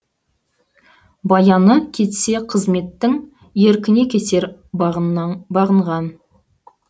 баяны кетсе қызметтің еркіне кетер бағынған